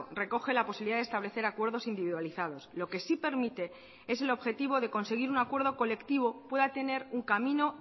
recoge la posibilidad de establecer acuerdos individualizados lo que sí permite es el objetivo de conseguir un acuerdo colectivo pueda tener un camino